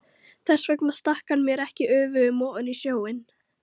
Þess vegna stakk hann mér ekki öfugum ofan í snjóinn.